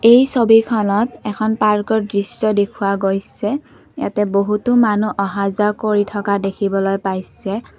এই ছবিখনত এখন পাৰ্কৰ দৃশ্য দেখুওৱা গৈছে ইয়াতে বহুতো মানুহ অহা যোৱা কৰি থকা দেখিবলৈ পাইছে।